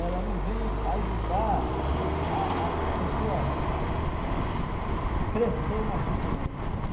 ela não vem ajudar a a a pessoa crescer na vida.